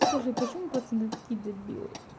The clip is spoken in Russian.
скажи почему пацаны такие дебилы